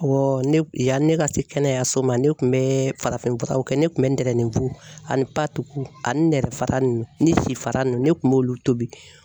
ne yanni ne ka se kɛnɛyaso ma ne kun bɛ farafin furaw kɛ, ne kun bɛ n tɛrɛnin fu ani ani nɛrɛ fara nunnu , ni si fara nunnu ne kun b'olu tobi.